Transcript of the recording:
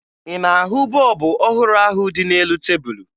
Ị na-ahụ bọọbụ ọhụrụ ahụ dị n'elu tebulu?